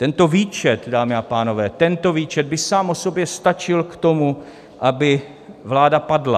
Tento výčet, dámy a pánové, tento výčet by sám o sobě stačil k tomu, aby vláda padla.